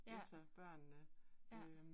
Ja. Ja